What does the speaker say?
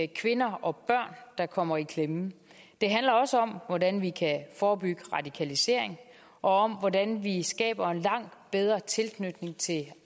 kvinder og børn der kommer i klemme det handler også om hvordan vi kan forebygge radikalisering og om hvordan vi skaber en langt bedre tilknytning til